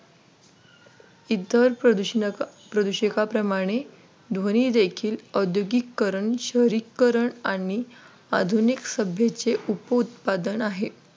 इतर प्रदूषणक प्रदूषकाप्रमाणे ध्वनी देखील औद्योगिकीकरण शहरीकरण आणि आधुनिक सभेचे उपउत्पादन आहे.